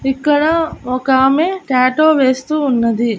ఇక్కడ ఒక ఆమె టాటూ వేస్తూ ఉన్నది.